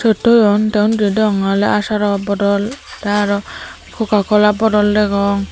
iyot toyon te undiyo degonge oley asaro bodol te aro cocacola bodol degong.